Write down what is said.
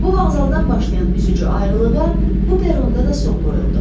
Bu vağzaldan başlayan üzücü ayrılığa bu peronda da son qoyuldu.